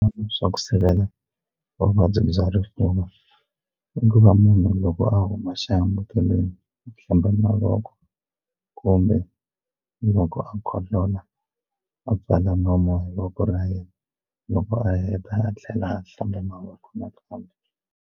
Swa ku sivela vuvabyi bya rifuva i ku va munhu loko a huma xihambukelweni ku hlamba mavoko kumbe loko a khohlola a pfala nomu hi voko ra yena loko a heta a tlhela a hlamba mavoko nakambe.